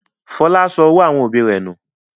Fọlá sọ owó àwọn òbí rẹ̀ nù.